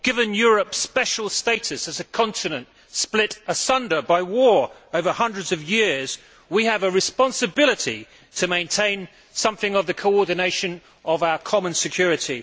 Given Europe's special status as a continent split asunder by war over hundreds of years, we have a responsibility to maintain some coordination of our common security.